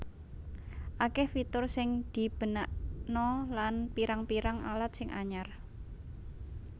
Akeh fitur sing dibenakna lan pirang pirang alat sing anyar